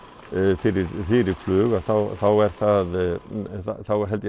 fyrir fyrir flug þá er það er